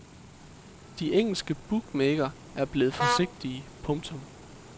De engelske bookmakere er blevet forsigtige. punktum